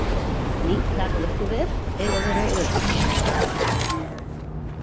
Ný kjarnorkuver eiga að vera örugg.